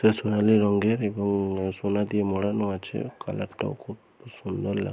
সোনালী রঙের এবং সোনা দিয়ে মোড়ানো আছে কালার টাও খুব সুন্দর লাগ ।